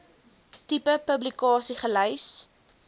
tipe publikasie gelys